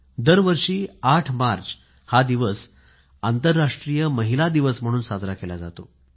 दर वर्षी 8 मार्च हा दिवस आंतरराष्ट्रीय महिला दिवस म्हणून साजरा केला जातो